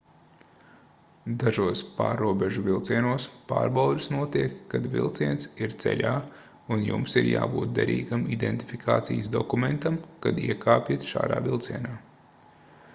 dažos pārrobežu vilcienos pārbaudes notiek kad vilciens ir ceļā un jums ir jābūt derīgam identifikācijas dokumentam kad iekāpjat šādā vilcienā